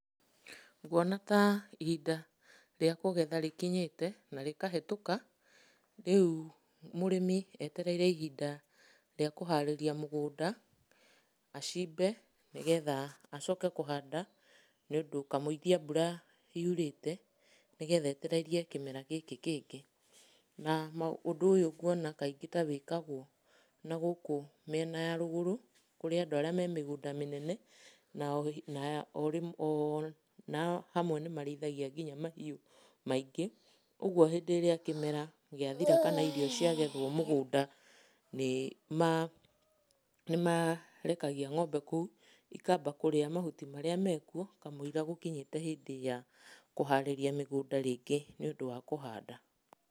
Nguona ta ihinda rĩa kũgetha rĩkinyĩte na rĩkahĩtũka, rĩu mũrĩmi etereire ihinda rĩa kũharĩria mũgũnda acimbe nĩgetha acoke kũhanda nĩũndũ kamũiria mbura yurĩte, nĩgetha etererie kĩmera gĩkĩ kĩngĩ. Na, ũndũ ũyũ nguona kaingĩ ta wĩkagwo na gũkũ mĩena ya rũgũrũ, kũrĩ andũ arĩa me mĩgũnda mĩnene, na o rĩmwe o hamwe nĩmarĩithagia nginya mahiũ maingĩ, ũguo hĩndĩ ĩrĩa kĩmera gĩathira kana irio ciagethwo mũgũnda nĩmarekagia ng'ombe kũu, ikamba kũrĩa mahuti marĩa mekuo kamũira gũkinyĩte hĩndĩ ya kũharĩria mĩgũnda rĩngĩ nĩũndũ wa kũhanda.